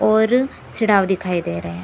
और सीढ़ाव दिखाई दे रहे हैं।